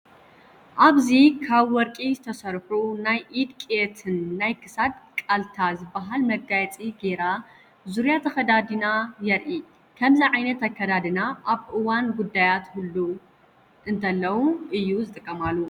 ኣብዚ ካብ ወርቂ ዝተሰርሑ ናይ ኢድ ቅየትን ናይ ክሳድ ቃልታ ዝበሃል መጋየፂ ገይራ ዙርያ ተከዲዳ የርኢ ። ከምዚ ዓይነት ኣከዳድና ኣብ እዋን ጉዳያት ህልው እንተለው እዩ ዝጥቀማሉ።